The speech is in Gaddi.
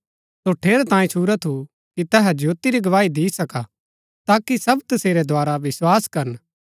सो ठेरै तांयें छुरा थू कि तैहा ज्योती री गवाही दी सका ताकि सब तसेरै द्धारा विस्वास करन